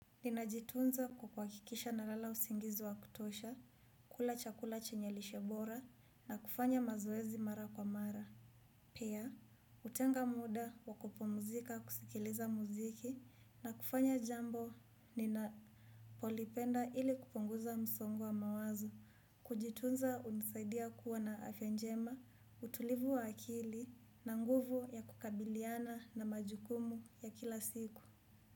Ninajitunza kukwakikisha na lala usingizi wa kutosha, kula chakula chenye lishebora na kufanya mazoezi mara kwa mara. Pya, utenga muda wa ku pumuzika kusikiliza muziki na kufanya jambo ninapolipenda ili kuponguza msongo wa mawazo. Kujitunza unisaidia kuwa na afyajema, utulivu wa akili na nguvu ya kukabiliana na majukumu ya kila siku.